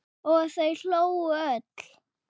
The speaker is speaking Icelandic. Og þau hlógu öll.